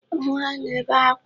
Nwa na-ebe akwa